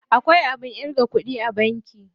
Akwai abin ƙirga kuɗi a banki.